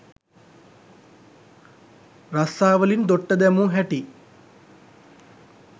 රස්සාවලින් දොට්ට දැමූ හැටි